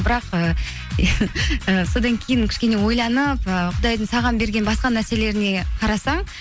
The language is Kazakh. бірақ ііі і содан кейін кішкене ойланып ы құдайдың саған берген басқа нәрселеріне қарасаң